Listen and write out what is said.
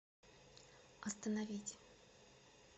остановить